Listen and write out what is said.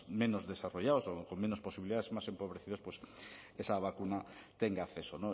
menos desarrollados o con menos posibilidades más empobrecidos esa vacuna tenga acceso